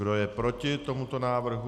Kdo je proti tomuto návrhu?